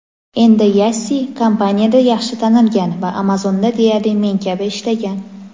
Endi Yassi kompaniyada yaxshi tanilgan va Amazon’da deyarli men kabi ishlagan.